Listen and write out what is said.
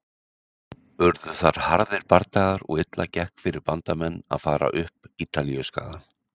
Urðu þar harðir bardagar og illa gekk fyrir Bandamenn að fara upp Ítalíuskagann.